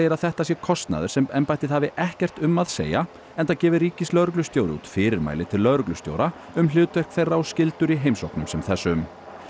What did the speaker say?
að þetta sé kostnaður sem embættið hafi ekkert um að segja enda gefi ríkislögreglustjóri út fyrirmæli til lögreglustjóra um hlutverk þeirra og skyldur í heimsóknum sem þessum